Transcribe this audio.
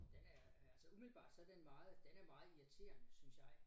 Den er altså umiddelbart så den meget den er meget irriterende synes jeg